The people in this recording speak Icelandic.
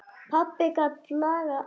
Pabbi gat lagað allt.